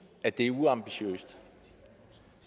at det er uambitiøst